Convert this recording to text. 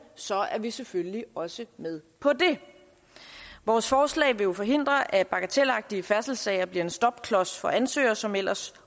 så er vi selvfølgelig også med på det vores forslag vil jo forhindre at bagatelagtige færdselssager bliver en stopklods for ansøgere som ellers